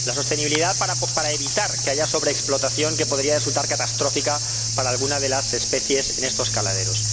la sostenibilidad para evitar que haya una sobreexplotación que podría resultar catastrófica para alguna de las especies en estos caladeros.